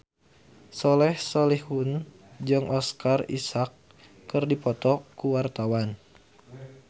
Soleh Solihun jeung Oscar Isaac keur dipoto ku wartawan